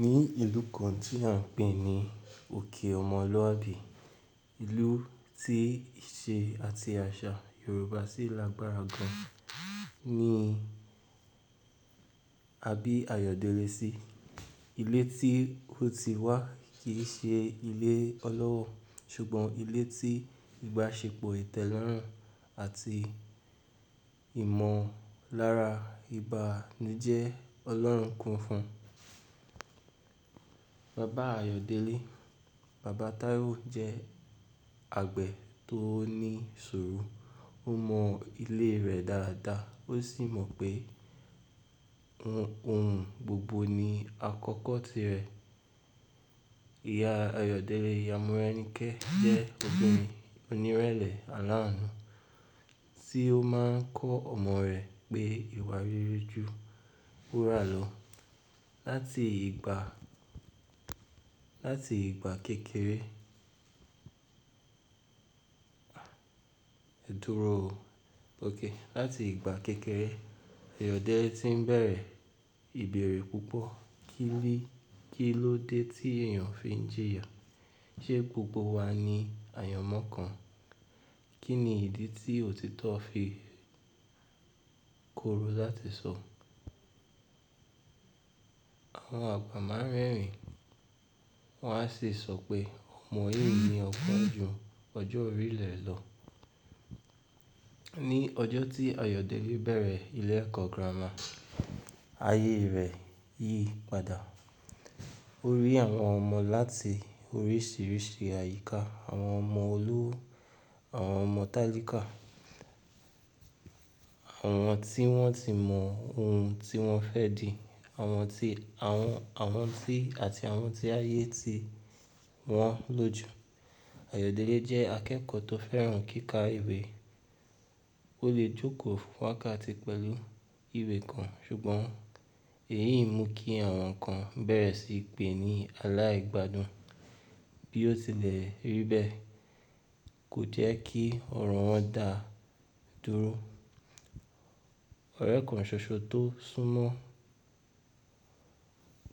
Ni ìlú kan tí à ń pè ní òkè ọmọlúàbí, ìlú tí ìṣe àti àṣà Yorùbá sì lágbára gan. Ní, abí Ayọ̀délé sí, ilé tí ó ti wá kì í ṣe ilé ọlọ́rọ̀, ṣùgbọ́n ilé tí ìbáṣepọ̀ ìtẹ́lọ́rùn àti ìmọ̀lára ibànijẹ́ ọlọ́run ko fún. Bàbá Ayọ̀délé, bàbá Taiwo jẹ́ àgbẹ̀ tó ní ìṣòro, ó mọ ilé rẹ̀ dáradára, ó sì mọ pé ohun gbogbo ni àkọ́kọ́ tirẹ̀. Ìyá Ayọ̀délé, ìyá Morẹ́nikẹ́ jẹ́ obìnrin onírẹ̀lẹ̀ alánú, tí ó máa ń kọ́ ọmọ rẹ̀ pé ìwà rere ju wúrà lọ. Láti ìgbà, láti ìgbà kékeré, dúró o. Okay. Láti ìgbà kékeré, Ayọ̀délé ti ń bẹ̀rẹ̀ ìbẹ̀erẹ̀ púpọ̀ kini ibi. Kí ló dé tí èèyàn fi ń jìyà? Ṣé gbogbo wa ni àyànmọ́ kan? Kí ni ìdí tí òtítọ́ fi korò láti sọ? Àwọn àgbà máa ń rẹ́rìn-ín, wọ́n á sì sọ pé ọmọ yìí ni ọ̀kan ju ọjọ́ orílẹ̀ lọ. Ní ọjọ́ tí Ayọ̀délé bẹ̀rẹ̀ ilé ẹ̀kọ́ gírámà, ayé rẹ̀ yí padà. Ó rí àwọn ọmọ láti oríṣiríṣi àyíká, àwọn ọmọ olówó, àwọn ọmọ tálíkà, àwọn tí wọ́n ti mọ ohun tí wọ́n fẹ́ di, àwọn tí, àwọn, àwọn tí àti àwọn tí ayé ti wọ́n loju. Ayọ̀délé jẹ́ akẹ́kọ̀ọ́ tó fẹ́ràn kíkà ìwé. Ó lè jókòó fun wákàtí pẹ̀lú ìwé kan, ṣùgbọ́n èyí mú kí àwọn kan bẹ̀rẹ̀ sí í pè ní aláìgbádùn. Bí ó tilẹ̀ rí bẹ́ẹ̀, kò jẹ́ kí ọ̀rọ̀ wọn dà dúró. Ọ̀rẹ́ kàn ṣoṣo tó súnmọ́